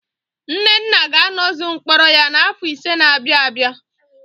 Nnenna ga-anọzu mkpọrọ ya n'afọ ise na-abịa abịa.